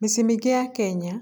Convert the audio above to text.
Mĩciĩ-inĩ mĩingĩ ya Kenya,